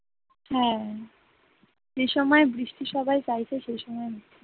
হ্যাঁ যে সময় বৃষ্টি সবাই চাইছে সে সময় হচ্ছে না